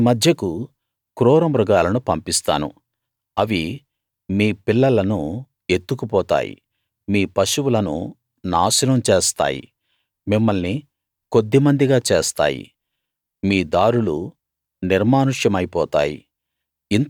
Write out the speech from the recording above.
మీ మధ్యకు క్రూరమృగాలను పంపిస్తాను అవి మీ పిల్లలను ఎత్తుకుపోతాయి మీ పశువులను నాశనం చేస్తాయి మిమ్మల్ని కొద్ది మందిగా చేస్తాయి మీ దారులు నిర్మానుష్యమై పోతాయి